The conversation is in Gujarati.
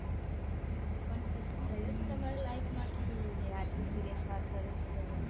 હા તો પણ કશુક થયું છે તમારી life મેં કે આટલી serious વાત કરો છો તમેં